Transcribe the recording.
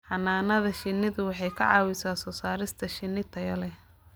Xannaanada shinnidu waxay ka caawisaa soo saarista shinni tayo leh.